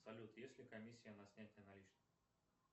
салют есть ли комиссия на снятие наличных